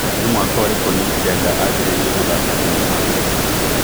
nĩ mwaka ũrikũ Nick Denda ajĩrĩirie gũthaka thĩnema